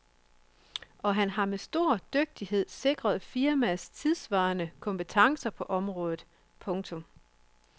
Og han har med stor dygtighed sikret firmaets tidssvarende kompetence på området. punktum